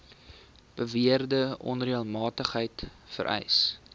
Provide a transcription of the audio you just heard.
beweerde onreëlmatigheid vereis